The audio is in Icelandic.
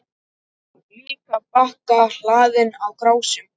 Líka bakka hlaðinn krásum.